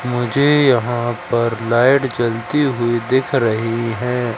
मुझे यहां पर लाइट जलती हुई दिख रही है।